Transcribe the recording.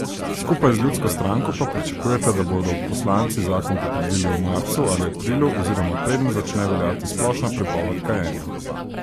Skupaj z Ljudsko stranko pa pričakujeta, da bodo poslanci zakon potrdili v marcu ali aprilu oziroma preden začne veljati splošna prepoved kajenja.